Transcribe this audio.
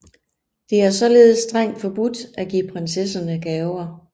Det er således strengt forbudt at give prinsesserne gaver